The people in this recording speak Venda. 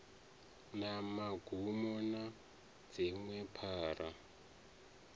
na magumo na dziṅwe phara